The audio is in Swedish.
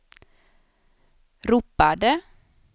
ropade